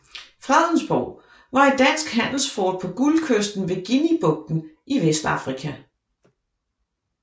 Fredensborg var et dansk handelsfort på Guldkysten ved Guineabugten i Vestafrika